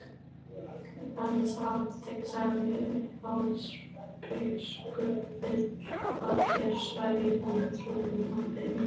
Hans hátign, sagði Sjálandsbiskup,-vill að þér sverjið honum trúnaðareið.